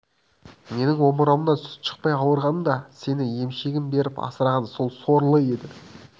менің омырауымнан сүт шықпай ауырғанымда сені емшегін беріп асыраған сол сорлы еді